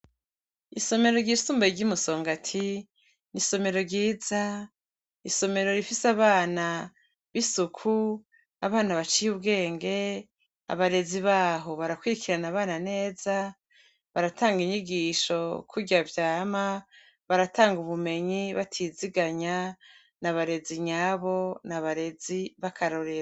Isomero ryisumbuye rye musongati , isomero ryiza isomero rifise abana bisuku, abana baciye Ubwenge ,abarezi baho barakwirikirana neza, baratanga inyigisho kurya vyama baratanga ubumenyi batizigamye n’abarezi nyabo n’abarezi bakarorero.